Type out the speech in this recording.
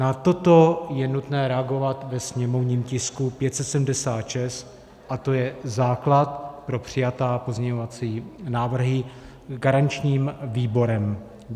Na toto je nutné reagovat ve sněmovním tisku 576 a to je základ pro přijaté pozměňovací návrhy garančním výborem.